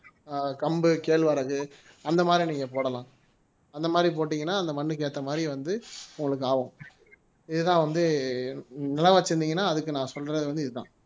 ஆஹ் கம்பு கேழ்வரகு அந்த மாதிரி நீங்க போடலாம் அந்த மாதிரி போட்டீங்கன்னா அந்த மண்ணுக்கு ஏத்த மாதிரி வந்து உங்களுக்கு ஆகும் இதுதான் வந்து நிலம் வச்சிருந்தீங்கன்னா அதுக்கு நான் சொல்றது வந்து இதுதான்